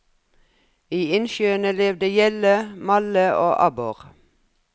I innsjøene levde gjedde, malle og abbor.